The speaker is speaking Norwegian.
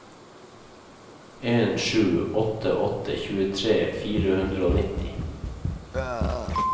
en sju åtte åtte tjuetre fire hundre og nitti